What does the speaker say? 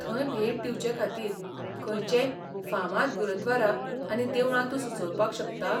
थंय भेट दिवचेखातीर खंयचेय फामाद गुरव्दारा आनी देवळां तूं सुचोवपाक शकता?